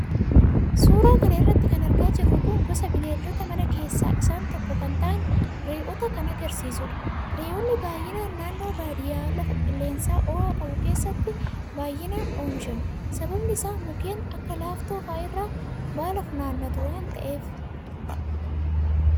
suuraa kana irratti kan argaa jirru kun gosa bineeldota manaa keessa isaan tokko kan ta'an re'oota kan agarsiisudha. re'oonni baay'inaan naannoo badiyyaa lafa qilleensa ho'aa qabu keessatti baay'inaan oomishamu. sababiin isaa mukeen akka laaftoo fa'a irraa baala funaannatu waan ta'eefi.